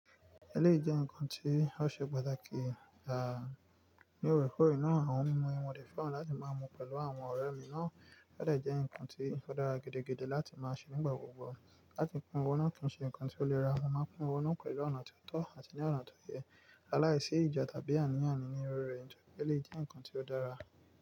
Ẹléyi jẹ́ ǹkan tí ó ṣe pàtàkì, à, ní òrèkóòrè náà àwọn mímu yí mo de feran wọn láti máa mú pẹ̀lú àwọn ọ̀rẹ́ mi náà, ó dẹ̀ jẹ́ ǹkan tí ó dára gidi láti máa ṣe nígbà gbogbo. Láti pín owó náà kì ń ṣe ǹkan tí ó lè rá wọn máa pín owó náà pẹ̀lú ọ̀nà tó tọ́ àti ní ọ̀nà tó yẹ, aláìsí ìjà tàbí àníyànni ní orí rẹ̀, ọ̀kẹ́ lè jẹ́ ǹkan tí ó dára.